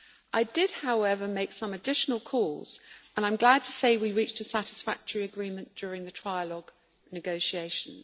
I did, however, make some additional calls, and I am glad to say we reached a satisfactory agreement during the trilogue negotiations.